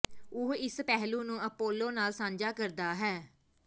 ਉਹ ਇਸ ਪਹਿਲੂ ਨੂੰ ਅਪੋਲੋ ਨਾਲ ਸਾਂਝਾ ਕਰਦਾ ਹੈ